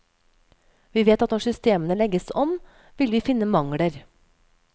Vi vet at når systemene legges om, vil vi finne mangler.